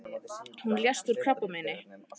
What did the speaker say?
Hún lést úr krabbameini.